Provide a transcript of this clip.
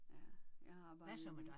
Ja jeg har arbejdet